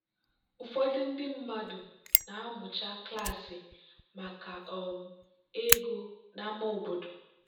ụfọdụ ndị mmadụ na-amụcha klaasị maka um ego n'ámá obodo.